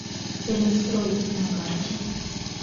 целинстрой на карте